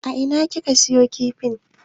A ina kika siyo min kifin?